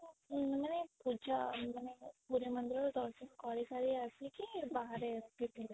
ମାନେ ପୂଜା ମାନେ ପୁରୀ ମନ୍ଦିର ରେ ଦର୍ଶନ କରି ସାରି ଆସି କି ବାହାରେ ଏମିତି ଥିଲେ